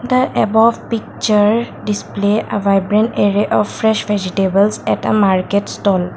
the above picture display a vibrant area of fresh vegetables at a market stall.